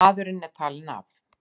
Maðurinn er talinn af.